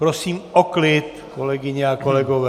Prosím o klid, kolegyně a kolegové.